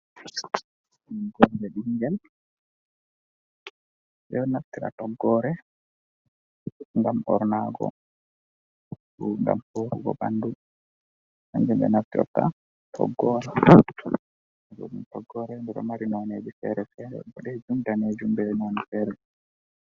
Toggoore ɓinngel, ɓe ɗo naftira toggoore ngam ɓornaago. Ngam suurugo ɓanndu kannjum ɓe naftirta toggoore. Nden toggoore nde ɗon mari noone feere-feere, ɓoɗeejum, daneejum bee noone feere.